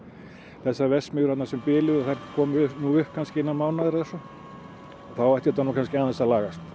þessar verksmiðjur sem biluðu komi upp innan mánaðar eða svo og þá ætti þetta nú aðeins að lagast